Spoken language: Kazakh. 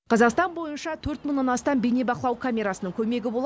қазақстан бойынша төрт мыңнан астам бейнебақылау камерасының көмегі болар